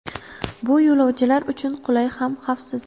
Bu yo‘lovchilar uchun qulay ham xavfsiz.